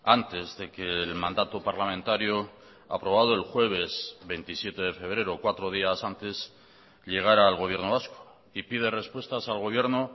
antes de que el mandato parlamentario aprobado el jueves veintisiete de febrero cuatro días antes llegará al gobierno vasco y pide respuestas al gobierno